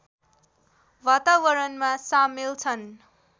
वातावरणमा सामेल छन्